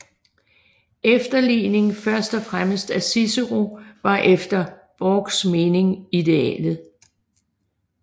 Efterligning først og fremmest af Cicero var efter Borchs mening idealet